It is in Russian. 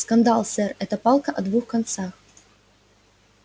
скандал сэр это палка о двух концах